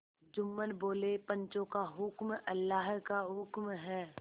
जुम्मन बोलेपंचों का हुक्म अल्लाह का हुक्म है